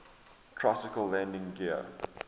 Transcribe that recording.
tricycle landing gear